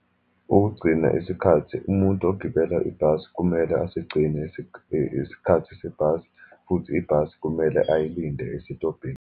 Ukugcina isikhathi, umuntu ogibela ibhasi kumele asigcine isikhathi sebhasi, futhi ibhasi kumele ayilinde esitobhini.